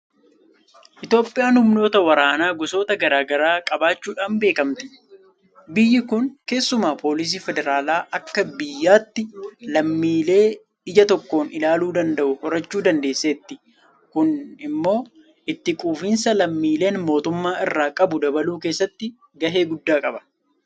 Itoophiyaan humnoota waraanaa gosoota garaa garaa qabaachuudhaan beekamti. Biyyi kun keessumaa Poolisii Federaalaa akka biyyaatti lammiilee ija tokkoon ilaaluu danda'u horachuu dandeesseetti. Kun immoo itti quufinsa lammiileen mootummaa irraa qabu dabaluu keessatti gahee guddaa qaba.